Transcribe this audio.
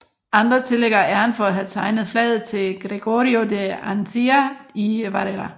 Andre tillægger æren for at have tegnet flaget til Gregorio de Andía y Varela